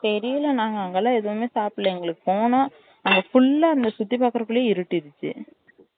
தெரியல நாங்க அங்க லாம் எதுமே சாப்டல எங்களுக்கு போனோம் அங்க full சுத்து பாக்குரகுள்ள இருட்டிடுச்சு